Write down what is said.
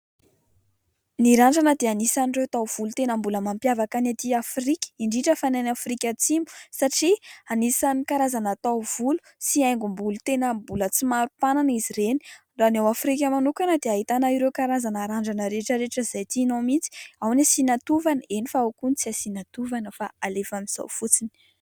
Ny randrana dia anisan'ireo taovolo tena mbola mampiavaka ny aty Afrika indrindra fa ny any Afrika Atsimo satria anisan'ny karazana taovolo sy haingom-bolo tena mbola tsy maro mpanana izy ireny. Raha ny ao Afrika manokana dia ahitana ireo karazana randrana rehetrarehetra izay tianao mihitsy, ao ny asiana tovana, eny fa ao koa ny tsy asiana tovana fa alefa amin'izao fotsiny.